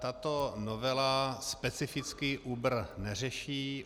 Tato novela specificky Uber neřeší.